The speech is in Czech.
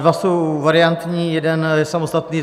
Dva jsou variantní, jeden je samostatný.